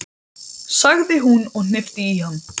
sagði hún og hnippti í hann.